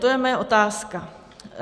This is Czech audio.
To je moje otázka.